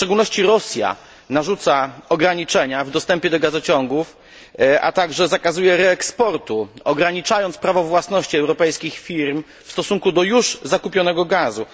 W szczególności Rosja narzuca ograniczenia w dostępie do gazociągów, a także zakazuje reeksportu, ograniczając prawo własności europejskich firm w stosunku do już zakupionego gazu.